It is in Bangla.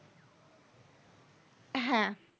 হ্যাঁ